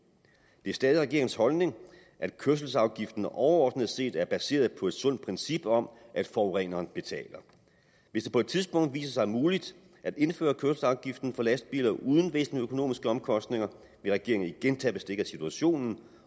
det er stadig regeringens holdning at kørselsafgiften overordnet set er baseret på et sundt princip om at forureneren betaler hvis det på et tidspunkt viser sig muligt at indføre kørselsafgiften for lastbiler uden væsentlige økonomiske omkostninger vil regeringen igen tage bestik af situationen